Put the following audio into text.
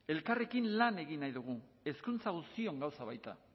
elkarrekin lan egin nahi dugu hezkuntza guztion gauza baita